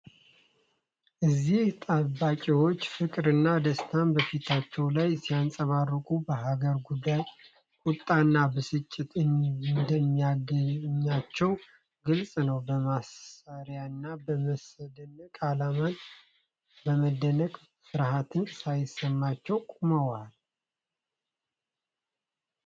እነዚህ ጠባቂዎች ፍቅርና ደስታ በፊታቸው ላይ ሲንጸባረቅ፣ በሀገር ጉዳይ ቁጣና ብስጭት እንደማይገታቸው ግልጽ ነው። በመሳሪያና በሰንደቅ ዓላማ በመደነቅ፣ ፍርሀት ሳይሰማቸው ቆመዋል።